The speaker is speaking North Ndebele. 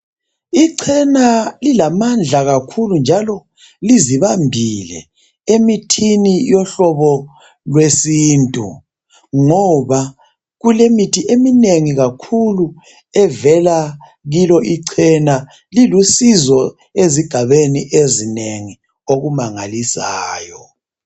Ichena lilamandla kakhulu njalo lizibambile emithini yohlobo lwesintu ngoba kulemithi eminengi kakhulu evela kilo ichena .Lilusizo ezigabeni ezinengi okumangalisayo